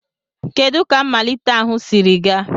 Kedu ka mmalite ahụ siri gaa?